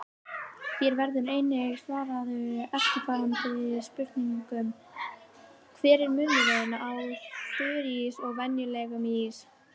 Hér verður einnig svarað eftirfarandi spurningum: Hver er munurinn á þurrís og venjulegum ís?